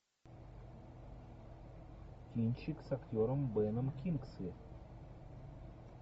кинчик с актером беном кингсли